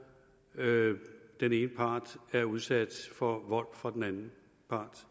den ene part er udsat for vold fra den anden part